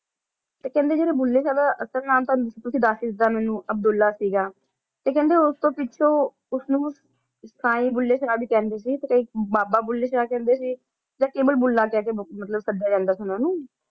ਤੇ ਕਹਿੰਦੇ ਆਏ ਬੁੱਲੇ ਸ਼ਾਹ ਦਾ ਅਸਲ ਨਾਂ ਤਾ ਦੱਸ ਦਿੱਤਾ ਤੁਸੀਂ ਮੇਨੋ ਅਬ੍ਦੁਲ੍ਲਾਹ ਸੀਗਾ ਤੇ ਕਹਿੰਦਾ ਕ ਉਸ ਤੋਂ ਪਿੱਛੋਂ ਸਾਰੇ ਬੁੱਲੇ ਸ਼ਾਹ ਕੈਂਡੇ ਸੀ ਤੇ ਕੇ ਬਾਬਾਆ ਬੁੱਲੇ ਸ਼ਾਹ ਕੈਂਡੇ ਸੀ ਆ ਮੁੱਲਾ ਕਹਿ ਕ ਸੁਦਯਾ ਜਾਂਦਾ ਸੀ ਉਨਾਂ ਨੂੰ